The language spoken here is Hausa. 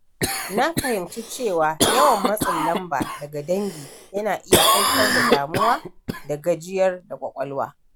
Na fahimci cewa yawan matsin lamba daga dangi yana iya haifar da damuwa da gajiyar da ƙwaƙwalwa.